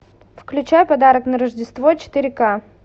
включай подарок на рождество четыре ка